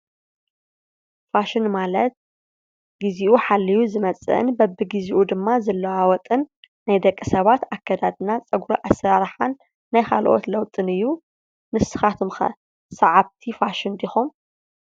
ፋሽን ማለት ግዝይኡ ሓልዩ ዝመፅእን በብግዝይኡ ድማ ዝለዋወጥን ናይ ደቂ ሰባት ኣከዳድናንን ፀጉሪ ኣሰራርሓን ናይ ካልኦት ለውጥን እዩ። ንስካትኩም ከ ስዓብቲ ፋሽን ዲኩም ?